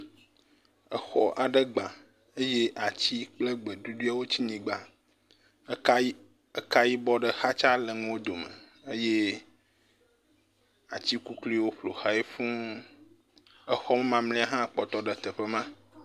Exɔ aɖe gba eye ati kple gbe ɖuɖɔewo tsi nyigba. Eka yibɔ ɖe xatsa le nuwo dome eye ati kukluiwo ƒo xlae fuu. Exɔ mamlɛ hã kpɔtɔ ɖe teƒe ma.